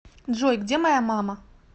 джой где моя мама